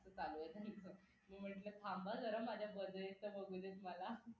म्हणलं थांबा जरा माझ्या budget बघू देत मला